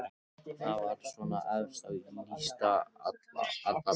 Það var svona efst á lista allavega.